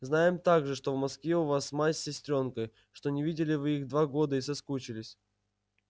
знаем также что в москве у вас мать с сестрёнкой что не видели вы их два года и соскучились